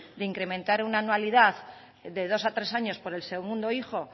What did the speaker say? de incrementar una anualidad de dos a tres años por el segundo hijo